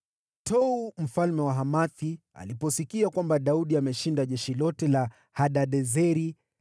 Tou, mfalme wa Hamathi, aliposikia kwamba Daudi amelishinda jeshi lote la Hadadezeri,